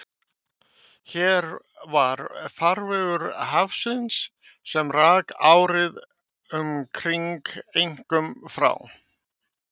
Hér var farvegur hafíssins, sem rak árið um kring einkum frá